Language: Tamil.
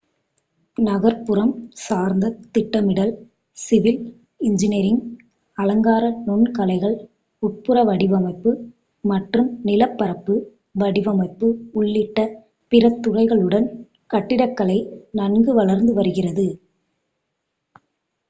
நகர்ப்புறம் சார்ந்த திட்டமிடல் சிவில் இன்ஜினியரிங் அலங்கார நுண்கலைகள் உட்புற வடிவமைப்பு மற்றும் நிலப்பரப்பு வடிவமைப்பு உள்ளிட்ட பிற துறைகளுடன் கட்டிடக்கலை நன்கு வளர்ந்துவருகிறது